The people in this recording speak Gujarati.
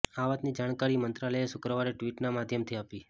આ વાતની જાણકારી મંત્રાલયએ શુક્રવારે ટ્વીટના માધ્યમથી આપી